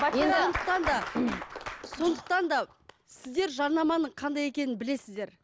сондықтан да сіздер жарнаманың қандай екенін білесіздер